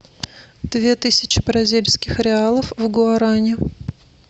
две тысячи бразильских реалов в гуаране